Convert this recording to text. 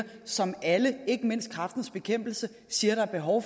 som alle ikke mindst kræftens bekæmpelse siger der er behov